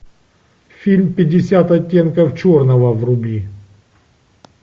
фильм пятьдесят оттенков черного вруби